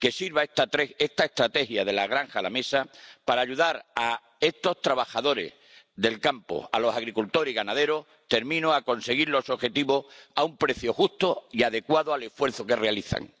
Que sirva esta estrategia de la granja a la mesa para ayudar a esos trabajadores del campo, a los agricultores y ganaderos, a conseguir los objetivos a un precio justo y adecuado al esfuerzo que realizan.